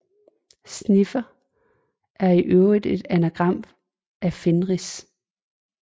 Snifer er i øvrigt et anagram af Fenris